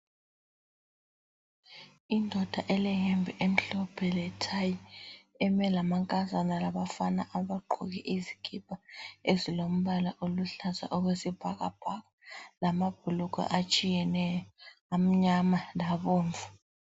Indoda eleyembe emhlophe lethayi, eme lamankazana labafana abagqoke izikipa ezilombala oluhlaza okwesibhakabhaka lamabhulugwe atshiyeneyo amnyama labomvu.